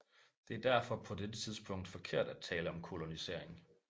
Det er derfor på dette tidspunkt forkert at tale om kolonisering